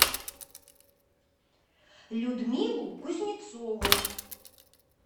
людмилу кузнецову